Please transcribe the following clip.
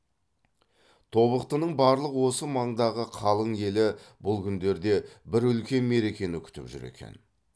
тобықтының барлық осы маңдағы қалың елі бұл күндерде бір үлкен мерекені күтіп жүр екен